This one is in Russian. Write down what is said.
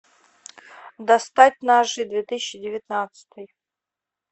достать ножи две тысячи девятнадцатый